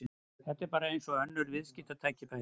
Þetta er bara eins og önnur viðskiptatækifæri.